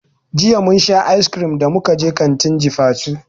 Jiya mun sha icecream da muka je kantin jifatu.